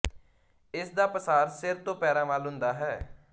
ਇਸ ਦਾ ਪਸਾਰ ਸਿਰ ਤੋਂ ਪੈਰਾਂ ਵੱਲ ਹੁੰਦਾ ਹੈ